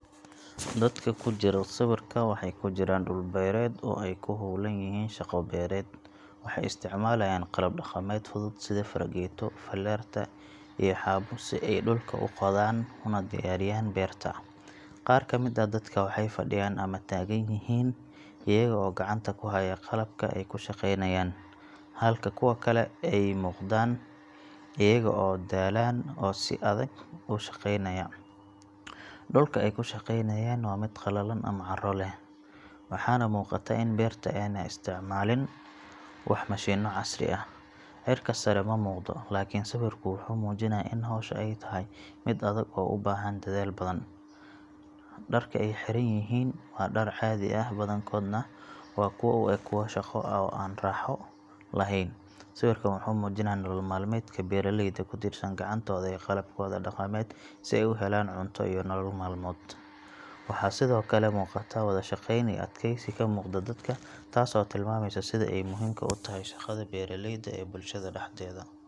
Dadka ku jira sawirka waxay ku jiraan dhul beereed oo ay ku howlan yihiin shaqo beereed. Waxay isticmaalayaan qalab dhaqameed fudud sida fargeeto, falaarta, iyo xaabo si ay dhulka u qodaan una diyaariyaan beerta. Qaar ka mid ah dadka waxay fadhiyan ama taagan yihiin iyaga oo gacanta ku haya qalabka ay ku shaqeynayaan, halka kuwa kale ay muuqdaan iyaga oo daalan oo si adag u shaqeynaya. Dhulka ay ku shaqeynayaan waa mid qallalan ama carro leh, waxaana muuqata in beerta aanay isticmaalin wax mashiinno casri ah. Cirka sare ma muuqdo, laakiin sawirku wuxuu muujinayaa in hawsha ay tahay mid adag oo u baahan dadaal badan. Dharka ay xiran yihiin waa dhar caadi ah, badankoodna waa kuwo u eg kuwo shaqo oo aan raaxo lahayn. Sawirkan wuxuu muujinayaa nolol maalmeedka beeraleyda ku tiirsan gacantooda iyo qalabkooda dhaqameed si ay u helaan cunto iyo nolol maalmeed. Waxaa sidoo kale muuqata wada shaqeyn iyo adkaysi ka muuqda dadka, taas oo tilmaamaysa sida ay muhiimka u tahay shaqada beeraleyda ee bulshada dhexdeeda.